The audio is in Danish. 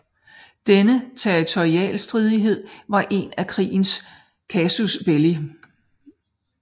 Denne territorialstridighed var en af krigens casus belli